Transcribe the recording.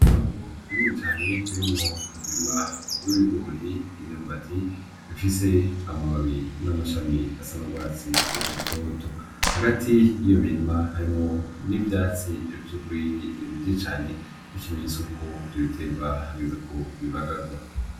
Itongo rinini cane ririmwo umurima w'ibigori, imyumbati bifise amababi n'amashami asa n'urwatsi rutoto. Hagati y'iyo mirima harimwo n'ivyatsi vy'urwiri vyinshi cane nk'ikimenyetso cuko ivyo biterwa hageze yuko bibagarwa.